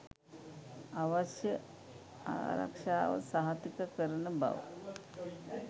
අවශ්‍ය ආරක්ෂාව සහතික කරන බව